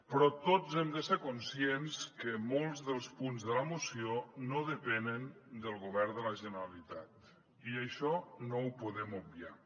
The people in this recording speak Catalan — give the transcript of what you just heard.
però tots hem de ser conscients que molts dels punts de la moció no depenen del govern de la generalitat i això no ho podem obviar